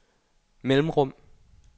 mellemrum